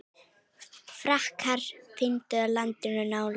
Frakkar umbyltu landinu nánast.